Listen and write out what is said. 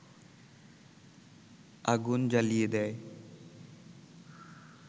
আগুন জ্বালিয়ে দেয